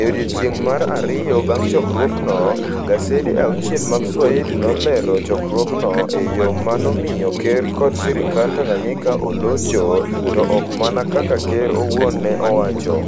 e odiechieng ' mar ariyo bang ' chokruogno, gasede auchiel mag Swahili nolero chokruogno e yo ma nomiyo ker kod sirkand Tanganyika olocho, to ok mana kaka ker owuon ne owacho.